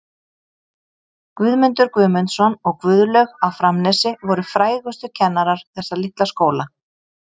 Guðmundur Guðmundsson og Guðlaug á Framnesi voru frægustu kennarar þessa litla skóla.